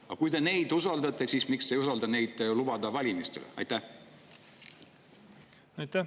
Ja kui te neid usaldate, siis miks te ei usalda neid nii palju, et lubate nad valimistele?